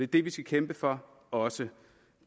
det vi skal kæmpe for også